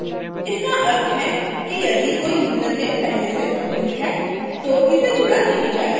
इसका अर्थ है कि यदि कोई username पहले से मौजूद है तो इसे जोड़ा नहीं जाएगा